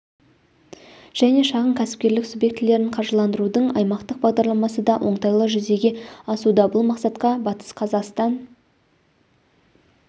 және шағын кәсіпкерлік субъектілерін қаржыландырудың аймақтық бағдарламасы да оңтайлы жүзеге асуда бұл мақсатқа батыс қазақстан